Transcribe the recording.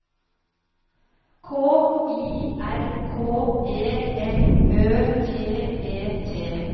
K I R K E M Ø T E T